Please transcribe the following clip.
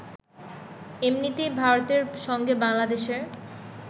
এমনিতেই ভারতের সঙ্গে বাংলাদেশের